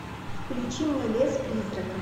включи мне лес призраков